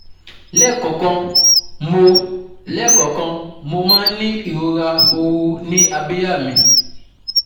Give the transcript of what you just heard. Lẹ́ẹ̀kọ̀ọ̀kan, mo Lẹ́ẹ̀kọ̀ọ̀kan, mo máa ń ní ìrora ooru ní abíyá mi